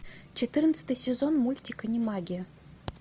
четырнадцатый сезон мультик анимагия